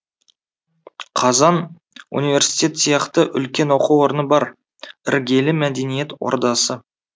қазан университет сияқты үлкен оқу орны бар іргелі мәдениет ордасы